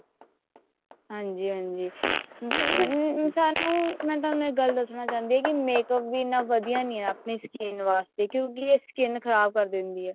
ਹਾਂਜੀ ਹਾਂਜੀ ਸਾਨੂੰ ਮੈਂ ਤੁਹਾਨੂੰ ਇੱਕ ਗੱਲ ਦੱਸਣਾ ਚਾਹੁੰਦੀ ਹਾਂ makeup ਇੰਨਾ ਵਧੀਆ ਨਹੀਂ ਹੈ ਆਪਣੀ skin ਵਾਸਤੇ ਕਿਉਂਕਿ ਇਹ skin ਖਰਾਬ ਕਰ ਦਿੰਦੀ ਹੈ